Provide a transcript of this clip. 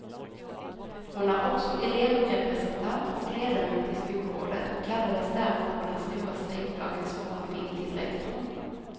Hon är också elevrepresentant och ledamot i skolrådet och kallades därför på den stora strejkdagens morgon in till rektorn.